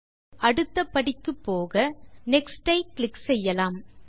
இப்போது அடுத்த ஸ்டெப் க்கு போக நெக்ஸ்ட் மீது கிளிக் செய்யலாம்